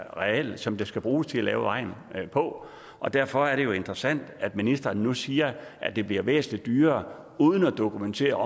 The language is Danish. areal som der skal bruges til at lave vejen på og derfor er det jo interessant at ministeren nu siger at det bliver væsentlig dyrere uden at dokumentere